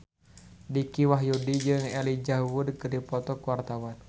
Dicky Wahyudi jeung Elijah Wood keur dipoto ku wartawan